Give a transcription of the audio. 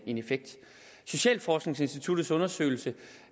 en effekt socialforskningsinstituttets undersøgelse